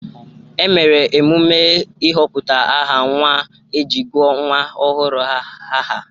Emere emume ịhọpụta aha nwa iji guo nwa ohuru ha aha.